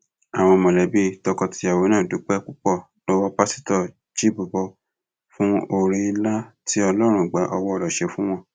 àwọn mọlẹbí tọkọtìyàwó náà dúpẹ púpọ lọwọ pásítọ chibubur fún oore ńlá tí ọlọrun gba owó rẹ ṣe fún wọn